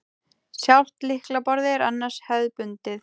Sjálft lyklaborðið er annars hefðbundið